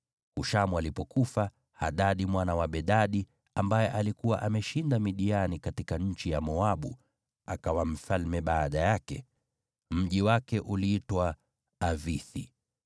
Hushamu alipofariki, Hadadi mwana wa Bedadi, aliyeshinda Midiani katika nchi ya Moabu, akawa mfalme baada yake. Mji wake uliitwa Avithi.